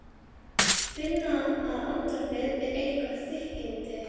Fór kærunefnd jafnréttismála út fyrir valdsvið sitt?